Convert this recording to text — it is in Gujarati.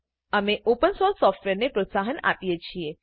અમે ઓપન સોર્સ સોફ્ટવેરને પ્રોત્સાહન આપીએ છીએ